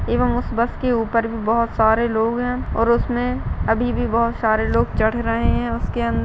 एवं उस बस के ऊपर भी बहुत सारे लोग है और उसमे अभी भी बहुत सारे लोग चढ़ रहे है उसके अंद--